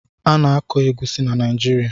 Ana-akọ egwusi na Naijiria.